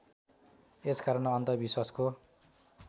यस कारण अन्धविश्वासको